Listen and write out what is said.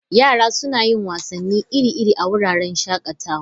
Yara suna yin wasanni iri-iri a wuraren shakatawa.